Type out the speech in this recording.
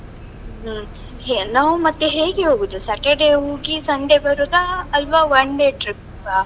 ಹ್ಮ್. ನಾವು ಮತ್ತೆ ಹೇಗೆ ಹೋಗುದು? Saturday ಹೋಗಿ Sunday ಬರುದಾ, ಅಲ್ವಾ one day trip ಆ?